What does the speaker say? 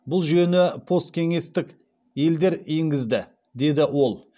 бұл жүйені посткеңестік елдер енгізді деді ол